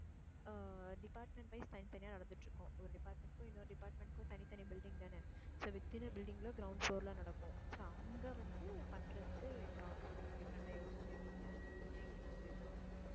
அஹ் department wise தனித்தனியா நடந்துட்டு இருக்கும். ஒரு department க்கும் இன்னொரு department க்கும் தனி தனி building தானே so within a building ல ground floor ல நடக்கும் so அங்க வந்து பண்றதுக்கு ஏதாவது ஒண்ணு different ஆ யோசிச்சு வைங்க அப்படின்னு என்கிட்ட சொல்லியிருக்காங்க